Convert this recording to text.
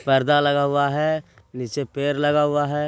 पर्दा लगा हुआ है। नीचे पड़े लगा हुआ है।